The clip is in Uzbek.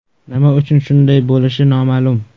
Nima uchun shunday bo‘lishi noma’lum.